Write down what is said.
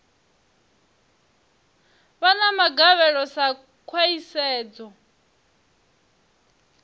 vha na magavhelo sa khwahisedzo